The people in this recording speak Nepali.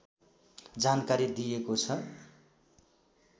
जानकारी दिएको छ